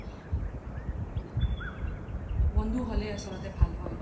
বন্ধু হ্'লে আচলতে ভাল হয়